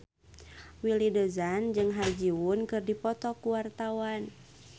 Willy Dozan jeung Ha Ji Won keur dipoto ku wartawan